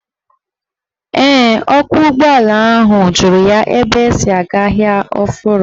Ee, ọkwọụgbọala ahụ jụrụ ya ebe esi aga Ahịa Ọfụrụ.